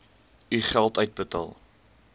u geld uitbetaal